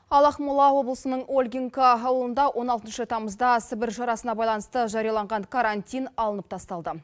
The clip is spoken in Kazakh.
ал ақмола облысының ольгинко ауылында он алтыншы тамызда сібір жарасына байланысты жарияланған карантин алынып тасталды